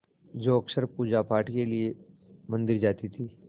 जो अक्सर पूजापाठ के लिए मंदिर जाती थीं